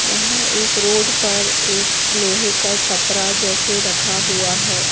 यहाँ एक रोड पर एक लोहे का टपरा जैसे रखा हुआ है।